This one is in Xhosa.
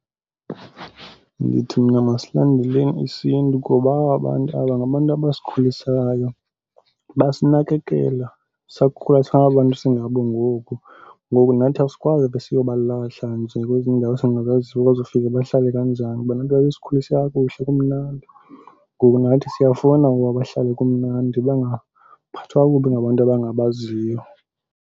Ndithi mna masilandeleni isiNtu ngoba aba bantu aba ngabantu abasikhulisayo, basinakekela sakhula sangaba 'ntu singabo ngoku. Ngoku nathi asikwazi ube siyobalahla nje kwezi ndawo esingazaziyo bazofika bahlale kanjani. Bona babesikhulise kakuhle kumnandi. Ngoku nathi siyafuna ukuba bahlale kumnandi, bangaphathwa kakubi ngabantu abangabaziyo.